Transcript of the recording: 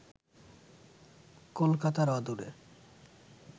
কলকাতার অদূরে